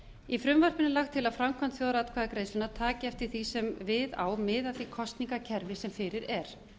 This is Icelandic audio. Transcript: í frumvarpinu er lagt til að framkvæmd þjóðaratkvæðagreiðslunnar taki eftir því sem við á mið af því kosningakerfi sem fyrir er